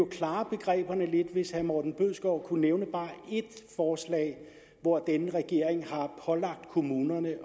klare begreberne lidt hvis herre morten bødskov kunne nævne bare ét forslag hvor denne regering har pålagt kommunerne